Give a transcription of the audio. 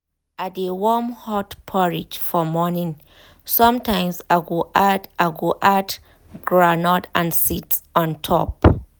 i dey warm hot porridge for morning sometimes i go add i go add um groundnut and seeds on um top.